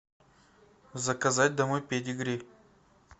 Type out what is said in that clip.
заказать домой педигри